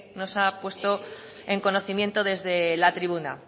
nos ha puesto en conocimiento desde la tribuna